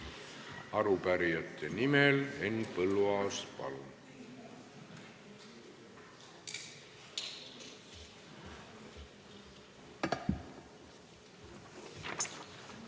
Arupärijate nimel Henn Põlluaas, palun!